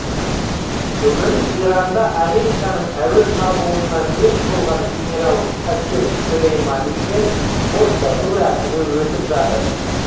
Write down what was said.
бүгін иранда американың әуе шабуылынан мерт болған генерал касем сүлейманимен қоштасу рәсімі өтіп жатыр